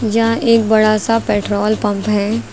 यह एक बड़ा सा पेट्रोल पम्प है।